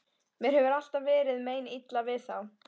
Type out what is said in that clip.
Mér hefur alltaf verið meinilla við þá.